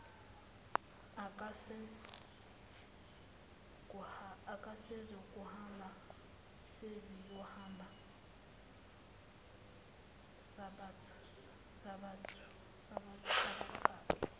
akasezukuhamba sesiyohamba sobathathu